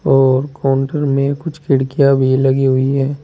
और काउंटर में कुछ खिड़कियां भी लगी हुई हैं।